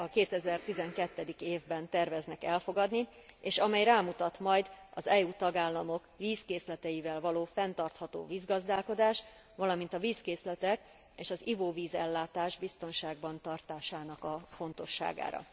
2012. évben terveznek elfogadni, és amely rámutat majd az EU tagállamok vízkészleteivel való fenntartható vízgazdálkodás, valamint a vízkészletek és az ivóvízellátás biztonságban tartásának a fontosságára.